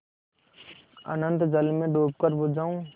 अनंत जल में डूबकर बुझ जाऊँ